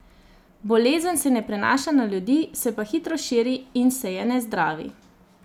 Bolezen se ne prenaša na ljudi, se pa hitro širi in se je ne zdravi.